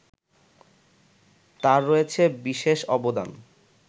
তার রয়েছে বিশেষ অবদান